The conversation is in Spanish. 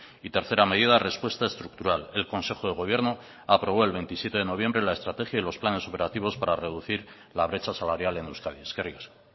y tercera medida respuesta estructural el consejo de gobierno aprobó el veintisiete de noviembre la estrategia y los planes operativos para reducir la brecha salarial en euskadi eskerrik asko